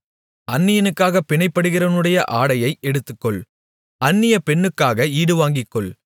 அந்நியனுக்காகப் பிணைப்படுகிறவனுடைய ஆடையை எடுத்துக்கொள் அந்நிய பெண்ணுக்காக ஈடுவாங்கிக்கொள்